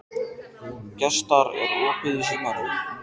Gestar, er opið í Símanum?